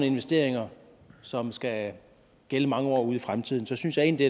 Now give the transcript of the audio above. investeringer som skal gælde mange år ud i fremtiden synes jeg egentlig